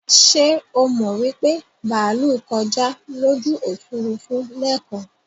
Ṣé o mọ wípé bàálú kọjá lójú Òfurufú lẹ́kan?